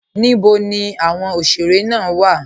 Níbò ní awọn oṣere wa?